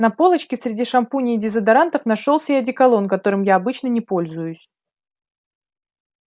на полочке среди шампуней и дезодорантов нашёлся и одеколон которым я обычно не пользуюсь